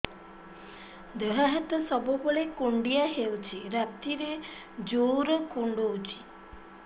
ଦେହ ହାତ ସବୁବେଳେ କୁଣ୍ଡିଆ ହଉଚି ରାତିରେ ଜୁର୍ କୁଣ୍ଡଉଚି